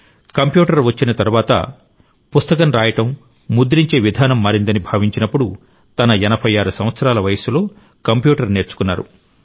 computer వచ్చిన తరువాత పుస్తకం రాయడం ముద్రించే విధానం మారిందని భావించినప్పుడు తన 86 సంవత్సరాల వయస్సులో కంప్యూటర్ నేర్చుకున్నారు